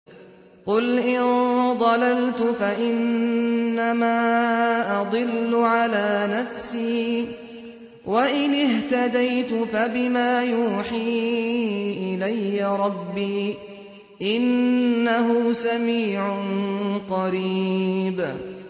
قُلْ إِن ضَلَلْتُ فَإِنَّمَا أَضِلُّ عَلَىٰ نَفْسِي ۖ وَإِنِ اهْتَدَيْتُ فَبِمَا يُوحِي إِلَيَّ رَبِّي ۚ إِنَّهُ سَمِيعٌ قَرِيبٌ